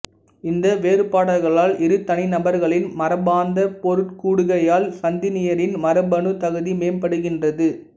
இந்த வேறுபாடுகளால் இரு தனிநபர்களின் மரபார்ந்த பொருட்கூடுகையால் சந்ததியினரின் மரபணு தகுதி மேம்படுகின்றது